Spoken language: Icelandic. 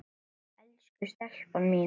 Elsku stelpan mín.